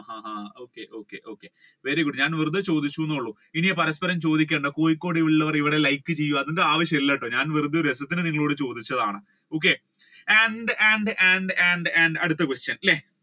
ആഹ് okay okay okay very good ഞാൻ വെറുതെ ചോദിച്ചൂന്നെ ഉള്ള് ഇനി പരസ്പരം ചോദിക്കണ്ട കോഴിക്കോടുവള്ളവർ ഇവിടെ like ചെയ്യുക അതിന്റെ ആവശ്യം ഒന്നും ഇല്ലട്ടോ ഞാൻ വെറുതെ ഒരു രസത്തിന് നിങ്ങളോട് ചോദിച്ചതാണ് okay and and and and and അടുത്ത question അല്ലെ